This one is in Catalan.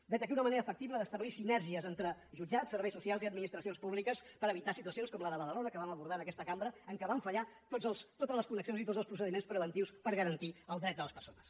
vet aquí una manera factible d’establir sinergies entre jutjats serveis socials i administracions públiques per evitar situacions com la de badalona que vam abordar en aquesta cambra en què van fallar totes les connexions i tots els procediments preventius per garantir el dret de les persones